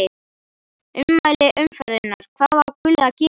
Ummæli umferðarinnar: Hvað á Gulli að gera?